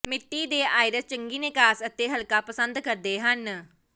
ਮਿੱਟੀ ਦੇ ਆਇਰਿਸ ਚੰਗੀ ਨਿਕਾਸ ਅਤੇ ਹਲਕਾ ਪਸੰਦ ਕਰਦੇ ਹਨ